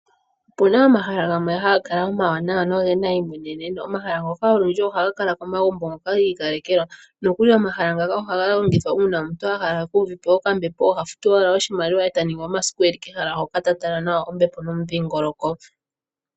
Opuna omahala gamwe haga kala omawanawa nogena eimweneneno. Omahala ngoka olundji ohaga kala komagumbo ngoka gi ikalekelwa nokuli omahala ngaka ohaga longithwa uuna omuntu ahala eku uvepo okambepo oha futu owala oshimaliwa eta ningi omasiku eli kehala hoka ta tala ombepo nomudhingoloko.